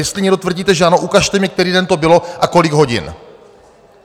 Jestli někdo tvrdíte, že ano, ukažte mi, který den to bylo a kolik hodin.